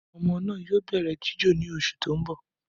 Ọmọ naa yoo bẹrẹ jijo ni oṣu ti n bọ.